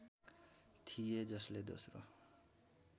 थिए जसले दोस्रो